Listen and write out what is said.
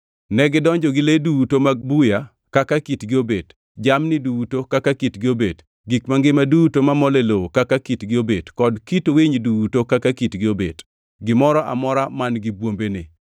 Negidonjo gi le duto mag buya kaka kitgi obet, jamni duto kaka kitgi obet, gik mangima duto mamol e lowo kaka kitgi obet, kod kit winy duto kaka kitgi obet, gimoro amora man-gi bwombene.